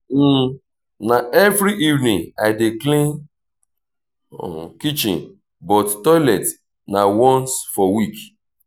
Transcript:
um na every evening i dey clean kitchen but toilet na once for week.